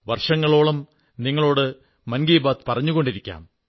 വർഷങ്ങളോളം നിങ്ങളോട് മൻ കീ ബാത് പറഞ്ഞുകൊണ്ടിരിക്കാം